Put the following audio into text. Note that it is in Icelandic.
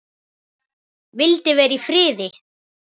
Vildi vera í friði.